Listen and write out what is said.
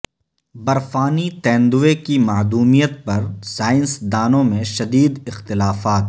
برفانی تیندوے کی معدومیت پر سائنس دانوں میں شدید اختلافات